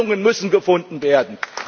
Lösungen müssen gefunden werden!